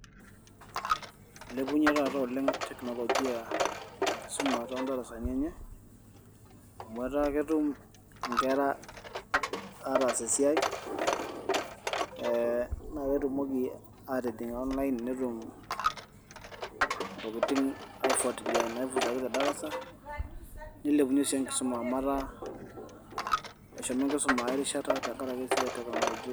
Ilepunyie taata tekinoloji enkisuma too darasanii enye amu etaa ketum inkera ataas esiai ee naa ketumoki aatijing' onlain netum Intokitin aifuatilia naisumaki tedarasa nilepunyie sii enkisuma amu etaa eshomo enkisuma ae rishata tengaraki esiai e tekinoloji.